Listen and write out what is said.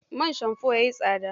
Man shamfo ya yi tsada.